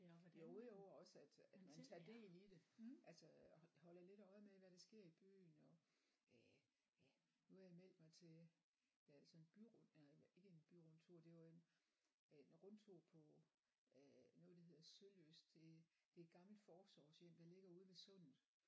Jo jo også at at man tager del i det altså holder lidt øje med hvad der sker i byen og øh ja nu har jeg meldt mig til altså en by nej ikke en byrundtur det var en rundtur på øh noget der hedder Sølyst det det et gammelt forsorgshjem der ligger ude ved sundet